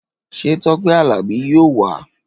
Ṣé Tọpẹ Àlàbí yóò wá?